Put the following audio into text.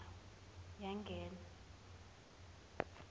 yangena